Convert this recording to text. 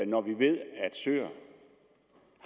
når vi ved at søer